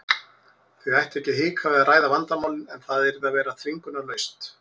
Þau ættu ekki að hika við að ræða vandamálin en það yrði að vera þvingunarlaust.